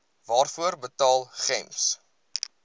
waarvoor betaal gems